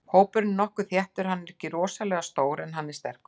Hópurinn er nokkuð þéttur, hann er ekkert rosalega stór en hann er sterkur.